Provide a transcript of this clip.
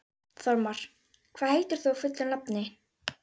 Þormar, hvað heitir þú fullu nafni?